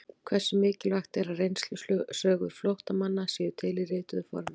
Hversu mikilvægt er að reynslusögur flóttamanna séu til í rituðu formi?